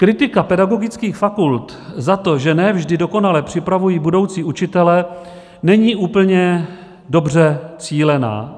Kritika pedagogických fakult za to, že ne vždy dokonale připravují budoucí učitele, není úplně dobře cílená.